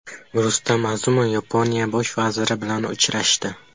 Rustam Azimov Yaponiya bosh vaziri bilan uchrashdi.